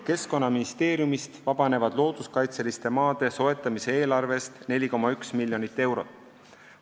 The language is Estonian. Keskkonnaministeeriumist vabanevad looduskaitseliste maade soetamise eelarvest 4,1 miljonit eurot.